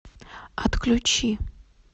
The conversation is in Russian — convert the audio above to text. отключи